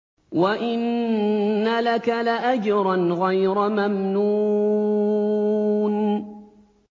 وَإِنَّ لَكَ لَأَجْرًا غَيْرَ مَمْنُونٍ